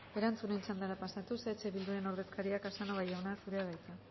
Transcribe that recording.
erantzunen txandara pasatuz eh bilduren ordezkaria casanova jauna zurea da hitza